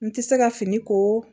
N tɛ se ka fini ko